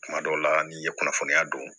Tuma dɔw la n'i ye kunnafoniya dɔn